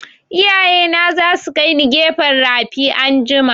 Iyaye na za su kaini gefen rafi anjima